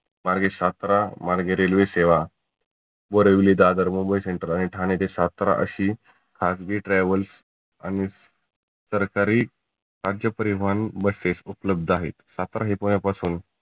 मार्गे सातारा मार्गे railway सेवा वरवली व दादर मुंबई central व ठाण्याच्या शात्रा अशी खाजगी travels आणि सरकारी राज्य परिवहन buses उपलब्ध आहेत. सातारा हे पहिल्या पासून